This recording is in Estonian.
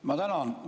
Ma tänan!